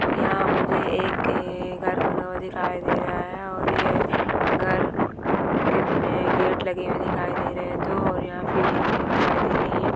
यहां मुझे एक अ घर बना हुआ दिखाई दे रहा है और ये घर के गेट लगे हुए दिखाय दे रहे दो और यहां सीढ़ियां बनी हुई दिखाय दे रही है।